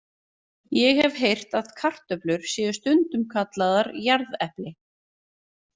Ég hef heyrt að kartöflur séu stundum kallaðar jarðepli.